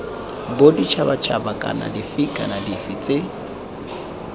boditšhabatšhaba dife kana dife tse